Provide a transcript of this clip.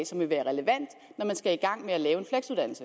som vil være relevant når man skal i gang med at lave